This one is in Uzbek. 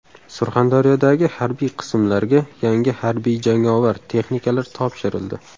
Surxondaryodagi harbiy qismlarga yangi harbiy-jangovar texnikalar topshirildi .